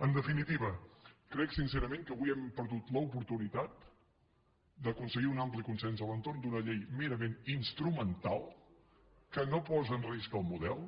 en definitiva crec sincerament que avui hem perdut l’oportunitat d’aconseguir un ampli consens a l’entorn d’una llei merament instrumental que no posa en risc el model